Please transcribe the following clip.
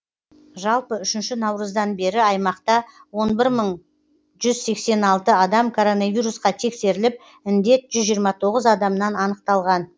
жалпы үшінші наурыздан бері аймақта он бір мың жүз сексен алты адам коронавирусқа тексеріліп індет жүз жиырма тоғыз адамнан анықталған